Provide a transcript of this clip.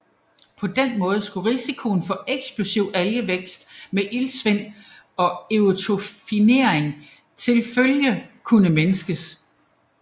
På den måde skulle risikoen for eksplosiv algevækst med iltsvind og eutrofiering tilfølge kunne mindskes